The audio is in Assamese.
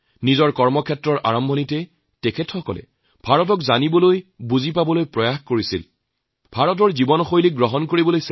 খাদ্যপানীয়ই বিভিন্ন ধৰণৰ আছে সমগ্ৰ জীৱনত প্ৰত্যেক দিনেই যদি এবিধ এবিধ নতুন খাদ্য খাও হয়তু ইয়াৰ পুনৰাবৃত্তি নহব